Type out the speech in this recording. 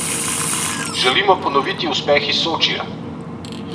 Želimo ponoviti uspeh iz Sočija.